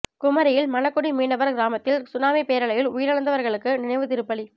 குமரியில் மணக்குடி மீனவர் கிராமத்தில் சுனாமி பேரலையில் உயிழந்தவர்களுக்கு நினைவு திருப்பலி